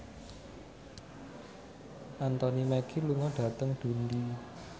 Anthony Mackie lunga dhateng Dundee